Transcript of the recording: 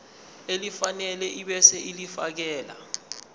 elifanele ebese ulifiakela